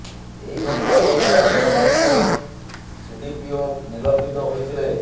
ଏହି ଘଟଣାର ପ୍ରାୟ ଦେଢ ମାସ ପରେ ସିଡିପିଓ ନିଲମ୍ବିତ ହୋଇଥିଲେ